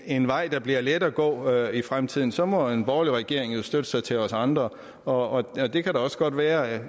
en vej der bliver let at gå ad i fremtiden og så må en borgerlig regering jo støtte sig til os andre og det kan da også godt være at